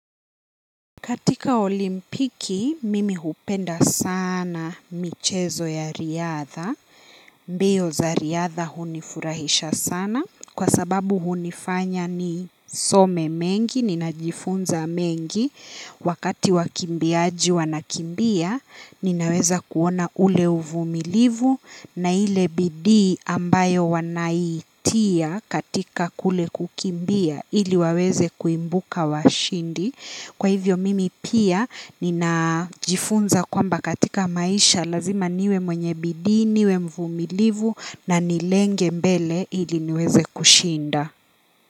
Katika olimpiki, mimi hupenda sana michezo ya riadha. Mbio za riadha hunifurahisha sana. Kwa sababu hunifanya nisome mengi, ninajifunza mengi. Wakati wakimbiaji wanakimbia, ninaweza kuona ule uvumilivu. Na ile bidii ambayo wanaitia katika kule kukimbia. Ili waweze kuibuka washindi. Kwa hivyo mimi pia ninajifunza kwamba katika maisha lazima niwe mwenye bidii, niwe mvumilivu na nilenge mbele ili niweze kushinda.